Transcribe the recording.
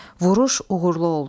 Vuruş uğurlu oldu.